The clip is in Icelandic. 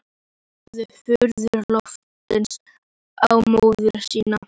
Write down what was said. Horfði furðu lostinn á móður sína.